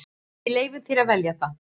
Við leyfum þér að velja það.